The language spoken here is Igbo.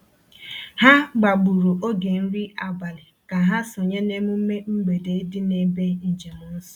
Ha gbagburu oge nri abalị ka ha sonye n’emume mgbede dị n’ebe njem nsọ.